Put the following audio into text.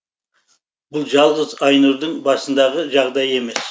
бұл жалғыз айнұрдың басындағы жағдай емес